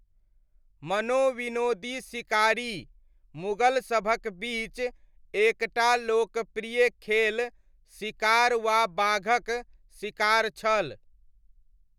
मनोविनोदी शिकारी, मुगल सभक बीच एक टा लोकप्रिय खेल शिकार वा बाघक शिकार छल।